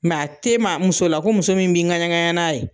a te ma muso la ko muso min b'i ŋaɲaŋaɲa n'a ye.